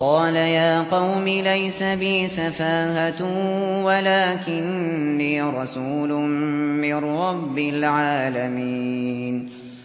قَالَ يَا قَوْمِ لَيْسَ بِي سَفَاهَةٌ وَلَٰكِنِّي رَسُولٌ مِّن رَّبِّ الْعَالَمِينَ